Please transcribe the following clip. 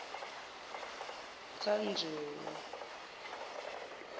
tanjewo